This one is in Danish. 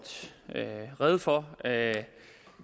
rede for at